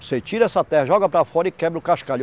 Você tira essa terra, joga para fora e quebra o cascalho.